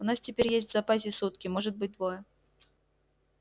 у нас теперь есть в запасе сутки может быть двое